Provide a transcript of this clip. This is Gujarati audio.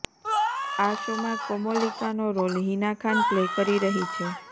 આ શોમાં કોમોલિકાનો રોલ હિના ખાન પ્લે કરી રહી છે